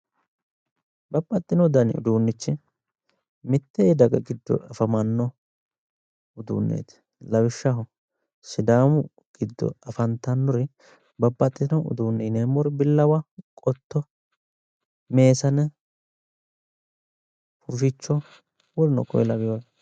Babbaxino dani uduunichi mitte daga giddo afamanno uduuneeti lawishshaho sidaamu giddo afantannori babbaxino uduune yineemori billawa qotto meesane huficho woluno konne laweore